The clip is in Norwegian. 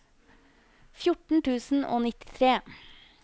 fjorten tusen og nittitre